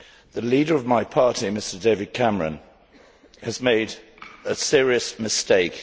The leader of my party, Mr David Cameron, has made a serious mistake.